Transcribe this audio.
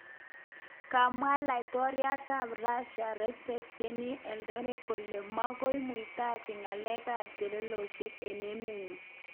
Komwa laitoryat ab Rasia Resep Tayyip Erdogan kole magoi muitaji ngalek ab chelesosyek eng emenyi